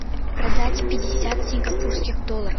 продать пятьдесят сингапурских долларов